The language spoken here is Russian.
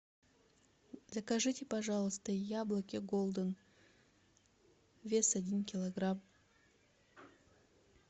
закажите пожалуйста яблоки голден вес один килограмм